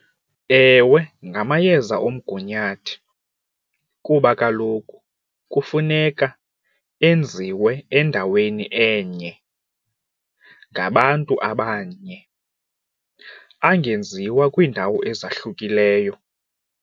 Ewe, ngamayeza omgunyathi kuba kaloku kufuneka enziwe endaweni enye ngabantu abanye angenziwa kwiindawo ezahlukileyo.